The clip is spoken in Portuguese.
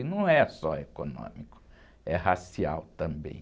E não é só econômico, é racial também.